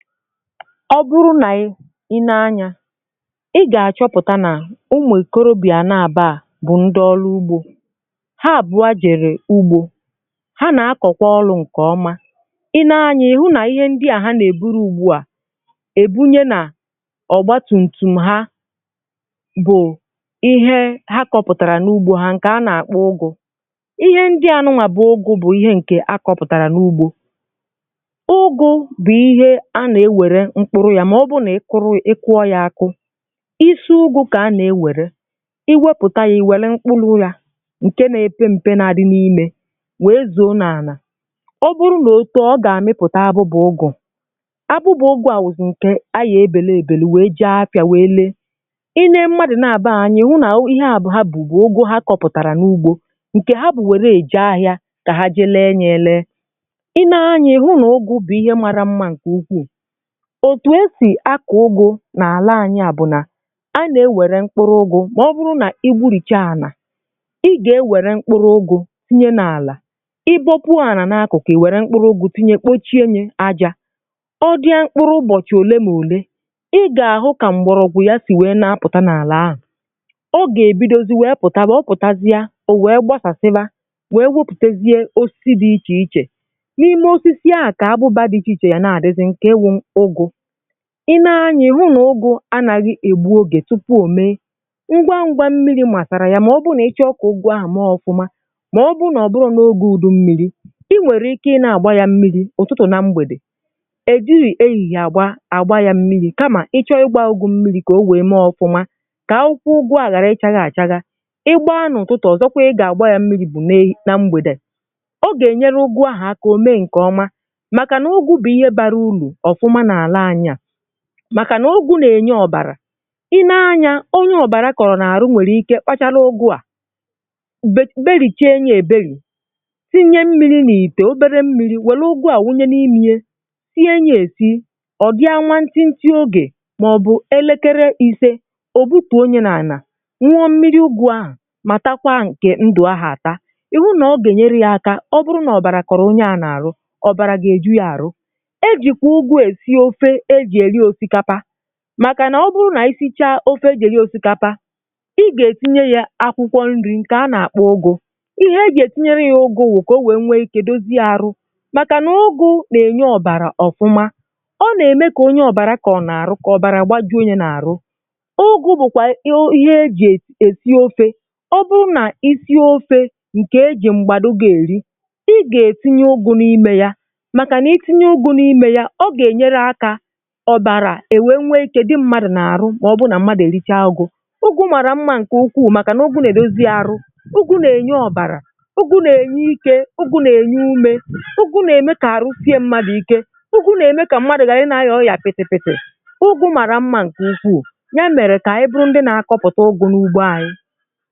Ọ bụrụ nà i nee anyȧ ị gà-àchọpụ̀ta nà umù ikorobị̀à na-àbụa bụ̀ ndị ọlụ ugbȯ, ha àbụ̀a jèrè ugbȯ, ha nà-akọ̀kwa ọlụ̇ ǹkè ọma. Ị nee anyȧ ịhụ nà ihe ndị à ha nà-èburu ugbu à èbunye nà ọ̀gba tum tum ha bụ̀ ihe ha kọpụ̀tàrà n’ugbȯ ha nkè a nà-àkpọ ụgụ̇ ihe ndị anụwà bụ̀ ụgụ̇ bụ̀ ihe ǹkè a kọpụ̀tàrà n’ugbȯ. Ụgụ bu ihe a na enwere mkpuru ya ma ọ bụrụ nà ị kụrụ ị kụọ yȧ akụ, ịsị ugù kà a nà-ewère, i wepụ̀ta ya iwere mkpụrụ̇ yȧ ǹke na-epe mpė na-adị n’imė wee zụ̀o na-ànà ọ bụrụ nà òtoo ọ gà-àmịpụ̀ta abụbụ̇ ụgụ̀. Abụbụ̇ ụgụ̀ à wụ̀zụ̀ ǹkè a yà-ebèlụ èbèlụ wèe jee afịȧ wèe lee. Ị nee mmadụ̀ na-àbụọ a anyị̀ ịhụ nà ihe a bụ ha bù bụ ụgụ ha kọpụ̀tàrà n’ugbȯ, ǹkè ha bụ̀ wère èje ahịȧ kà ha je lee ya ė lee, ị nee anyịa ịhụ nà ụgụ̀ bụ̀ ihe mara mma ǹkè ukwuù òtù esì akọ̀ ụgụ̇ nà àla anyi à bụ̀ nà a nà-ewere mkpụrụ̇ ụgụ̇ mà ọ bụrụ nà igbu̇rìchaa ànà, ị gà-ewere mkpụrụ̇ ụgụ̇ tinye n’àlà, ị bọkwuo ànà n’akụ̀kụ yà, ì wère mkpụrụ̇ ụgụ̇ tinye kpochie yė ajȧ ọ gaa mkpụrụ ụbọ̀chị̀ òle na ole, ị gà-àhụ kà m̀gbọ̀rọ̇gwụ̇ ya sì wèe na-apụ̀ta n’àlà ahụ̀ ọ gà-èbidozi wèe pụ̀tawa ọ pụ̀tasie o wee gbasasiba,o wee weputazie osisi dị̇ ichè ichè, n’ime osisi à kà abụba dị̇ ichè ichè ga nà àdịzị nke iwu ụgụ.Ị nee anya ị hụ nà ụgụ anàghị̀ egbu ogè tupu ò mee, ngwa ngwȧ mmiri̇ masàrà ya mà ọ bụ nà ịchọ kà ụgụ ahà maa ọkụmȧ mà ọ bụ nà ọ bụrọ̇ nà ogė udu mmiri̇, i nwèrè ike ị na-àgba yȧ mmiri̇ ụ̀tụtụ̀ na mgbèdè, è jighì ehihie àgba àgba yȧ mmiri̇ kamà ịchọ̇ ịgbȧ ụgụ mmiri̇ kà o wee mee ọfụmȧ, kà akwụkwụ ụgụ àhụ ghàra ị chaghȧ achaghȧ, ịgbȧa n’ụ̀tụtụ̀, ọ̀zọkwa ị gà-àgba yȧ mmiri̇ bụ̀ na na mgbèdè ọ gà-ènyere ụgụ ahụ̀ akà o mee ǹkè ọma, màkà nà ụgụ bu ihe bara uru ofuma n’ala anyi a, maka na ụgụ nà-ènye ọ̀bàrà. Ị nee anya onye ọ̀bàrà kọ̀rọ̀ n’àrụ nwèrè ike kpachara ụgụ à, be belìchee ye èbelì, sinye mmiri̇ nà-ìtè obere mmiri̇ wère ụgụ à wunye n’imė ye, sie ya esi ọ̀ gaa nwa ntịntị ogè màọ̀bụ̀ elekere ìse, ò butù o nye nà ànà, nwụọ mmiri ụgụ ahụ̀ mà takwa nkè ndụ̀ ahụ̀ àta. Ị hụ nà ọ gà-ènyere ya aka ọ bụrụ nà ọ̀bàrà kọ̀rọ̀ onye à n’àrụ ọ̀bàrà gà-èju ya àrụ. E jikwa ụgụ esi ofe ejì eri osikapa; maka na ọ bụrụ na ị sichaa of eji eri osikapa ị gà-ètinye yȧ akwụkwọ nri̇ ǹkè a nà-àkpọ ụgụ̇. Ịhe e jì ètinye ya ụgụ ụgụ a bụ kà o wèe nwee ike dozie àrụ, màkà nà ụgụ̇ nà-ènye ọ̀bàrà ọ̀fụma ọ nà-ème kà onye ọ̀bàrà kọ̀rọ̀ n’àrụ kà ọ̀bàrà gbajuo ya nà-àrụ. Ụgụ̇ bụ̀kwà ihe e jì èsì ofe, ọ bụrụ nà isie ofe ǹkè e jì m̀gbàdụga-èri, ị gà-èsinye ụgụ̇ n’imė ya màkà nà itinye ụgụ̇ n’imė ya ọ gà-ènyere akȧ ọbàrà èwè nnwe ikė dị mmadụ̀ n’àrụ mà ọ bụ nà mmadụ̀ èricha ụgụ̇. Ụgụ màrà mmȧ ǹkè ukwuù màkà nà ụgụ nà-èdozi arụ, ụgụ nà-ènye ọbàrà, ụgụ nà-ènye ike, ụgụ nà-ènye umė, ụgụ nà-ème kà arụ sie mmadụ̀ ike, ụgụ nà-ème kà mmadụ̀ ghara ị na anya ọrịà pịtịpịtị. Ụgụ màrà mmȧ ǹkè ukwu, ya mèrè kà anyi bụrụ ndị nà-akọ̇pụ̀ta ụgụ̇ n’ugbo anyị.